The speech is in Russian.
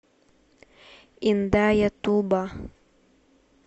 индаятуба